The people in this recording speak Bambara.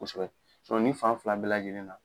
Kosɛbɛ nin fan fila bɛɛ lajɛlen na